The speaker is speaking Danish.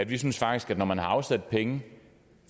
vi synes faktisk at når man har afsat penge